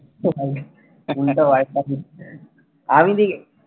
আমি দেখি